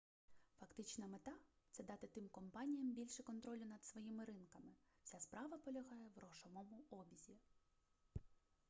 фактична мета це дати тим компаніям більше контролю над своїми ринками вся справа полягає в грошовому обізі